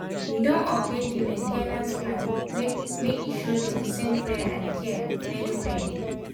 we don update di main ten ance plan make e show di recent wear and tear well well.